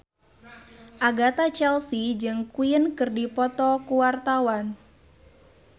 Agatha Chelsea jeung Queen keur dipoto ku wartawan